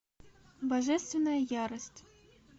божественная ярость